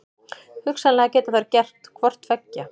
Hugsanlega geta þær gert hvort tveggja.